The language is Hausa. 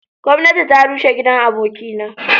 Gomnati ta rushe gidan aboki na.